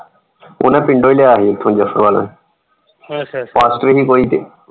ਉਹਨਾਂ ਪਿੰਡੋ ਹੀ ਲਿਆ ਸੀ ਇਥੋਂ ਜਫਰਵਾਲ ਪਾਸਟਰ ਹੀ ਕੋਈ ਤੇ।